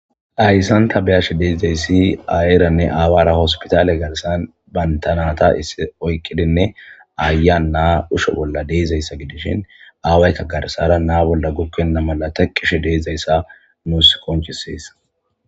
Hayssan ta be'ash de'izayssi ayeranne aawara hospitaale garssan banta naata issi oyqqidinne ayiya naa usho bolla de'izayssa gidishin aawaykka garssara naa bolla gukkenna mala tekkishe de'izayssa nuus konccisees.